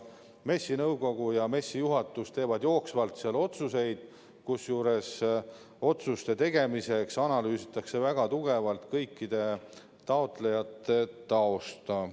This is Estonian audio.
MES-i nõukogu ja juhatus teevad jooksvalt otsuseid, kusjuures otsuste tegemisel analüüsitakse väga tugevalt kõikide taotlejate tausta.